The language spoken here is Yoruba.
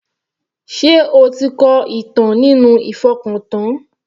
Sé o ti kọ ìtàn nínú ìfọkàntán?